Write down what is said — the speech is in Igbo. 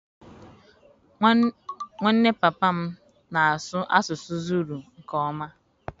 Nwanne papa m na-asụ asụsụ Zulu nke ọma.